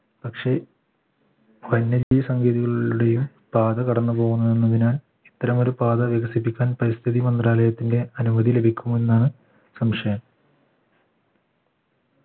പക്ഷേ വന്യജീവി സങ്കേതികളുടേയും പാത കടന്നു പോകുന്നതിനാൽ ഇത്തരം ഒരു പാത വികസിപ്പിക്കാൻ പരിസ്ഥിതി മന്ത്രാലയത്തിന്റെ അനുമതി ലഭിക്കുമെന്നാണ് സംശയം